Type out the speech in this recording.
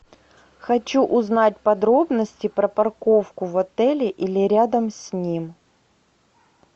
хочу узнать подробности про парковку в отеле или рядом с ним